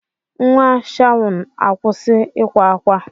Nwa Shawn, akwụsị ịkwa ákwá!